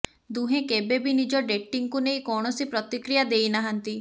ଦୁହେଁ କେବେ ବି ନିଜ ଡେଟିଂକୁ ନେଇ କୌଣସି ପ୍ରତିକ୍ରିୟା ଦେଇ ନାହାନ୍ତି